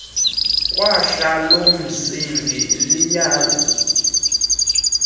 khwahla lomsingi liyazi